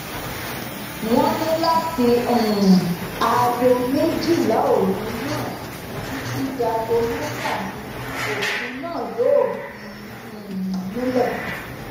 wọn ní láti um aago méjìlá òru náà títí dáago mẹfà ni òfin náà yóò fi um múlẹ